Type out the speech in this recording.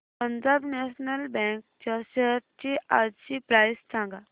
Punjab National Bank च्या shares आजची price सांगा